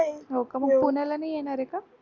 हो का मग पुण्याला नाही येणारे का